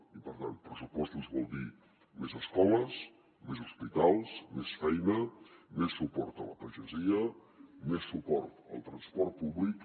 i per tant pressupostos vol dir més escoles més hospitals més feina més suport a la pagesia més suport al transport públic